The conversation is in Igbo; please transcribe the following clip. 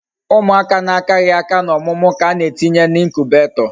Umuaka na akaghi aka na omumu ka ana etinye na incubator